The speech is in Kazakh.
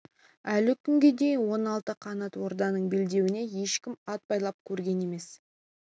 әлі күнге дейін он алты қанат орданың белдеуіне ешкім ат байлап көрген емес